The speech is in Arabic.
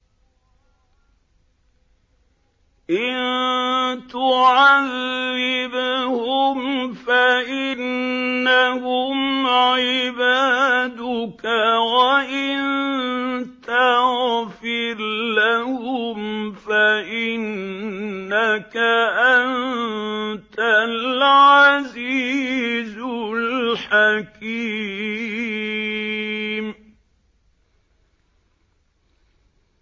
إِن تُعَذِّبْهُمْ فَإِنَّهُمْ عِبَادُكَ ۖ وَإِن تَغْفِرْ لَهُمْ فَإِنَّكَ أَنتَ الْعَزِيزُ الْحَكِيمُ